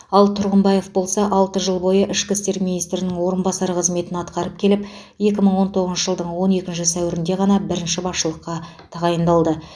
ал тұрғымбаев болса алты жыл бойы ішкі істер министрінің орынбасары қызметін атқарып келіп екі мың он тоғызыншы жылдың он екінші сәуірінде ғана бірінші басшылыққа тағайындалды